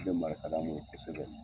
bɛ mara ka n'u ye kosɛbɛ.